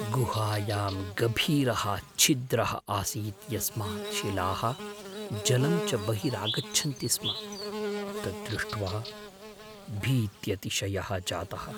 गुहायां गभीरः छिद्रः आसीत् यस्मात् शिलाः जलं च बहिरागच्छन्ति स्म, तद्दृष्ट्वा भीत्यतिशयः जातः।